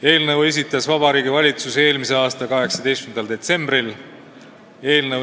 Eelnõu esitas Vabariigi Valitsus eelmise aasta 18. detsembril.